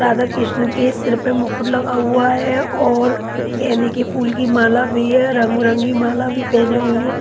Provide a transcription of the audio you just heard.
राधा कृष्ण के सर पे मुखट लगा हुआ है और गेंदे के फूल की माला भी है रंगबिरंगी माला भी पहनी हुयी है।